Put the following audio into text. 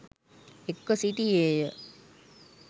එක්ව සිටියේ ය.